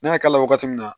N'a y'a k'a la wagati min na